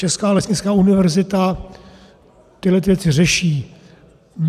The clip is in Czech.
Česká lesnická univerzita tyto věci řeší.